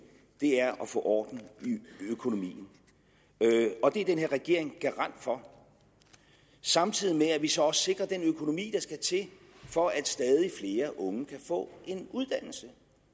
er at få orden i økonomien og det er den her regering garant for samtidig med at vi så også sikrer den økonomi der skal til for at stadig flere unge kan få en uddannelse